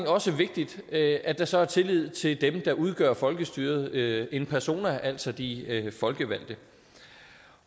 også vigtigt at at der så er tillid til dem der udgør folkestyret en persona altså de folkevalgte